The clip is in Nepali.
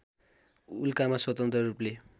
उल्कामा स्वतन्त्र रूपले